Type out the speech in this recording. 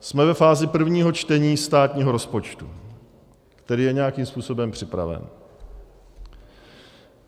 Jsme ve fázi prvního čtení státního rozpočtu, který je nějakým způsobem připraven.